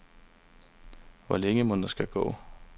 Hvor længe mon der skal gå?